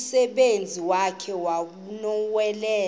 umsebenzi wakhe ewunonelele